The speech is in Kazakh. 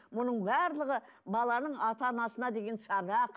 мұның барлығы баланың ата анасына деген сабақ